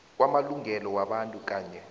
kwamalungelo wabantu kanye